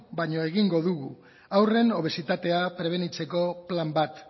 baino egingo dugu haurren obesitatea prebenitzeko plan bat